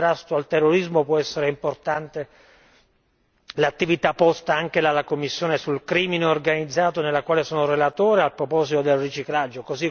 nel contrasto al terrorismo può essere importante l'attività realizzata anche dalla commissione sul criminalità organizzata, nella quale sono relatore a proposito del riciclaggio.